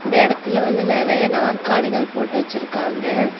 இந்த இடத்தில வந்து நெறைய நாற்காலிகள் போட்டு வச்சிருக்காங்க.